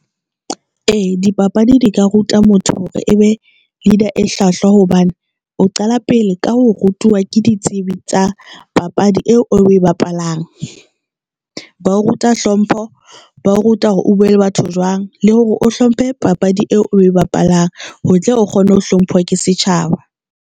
A dipapadi di ka ruta motho hore ebe Leader e hlwahlwa hobane o qala pele ka ho rutuwa ke ditsebi tsa papadi eo o e bapalang. Bang ba ruta hlompho, ba ruta hore o bue le batho jwang le hore o hlomphe papadi eo oe bapalang, ho tle o kgone ho hlompho ke setjhaba.